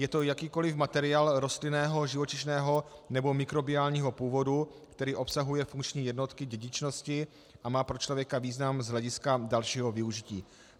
Je to jakýkoliv materiál rostlinného, živočišného nebo mikrobiálního původu, který obsahuje funkční jednotky dědičnosti a má pro člověka význam z hlediska dalšího využití.